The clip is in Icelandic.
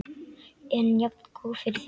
En jafngóð fyrir því!